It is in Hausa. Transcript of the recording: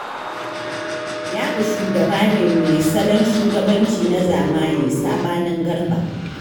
Ya'u shugaba ne mai salon shugabanci na zamani, saɓanin Garba.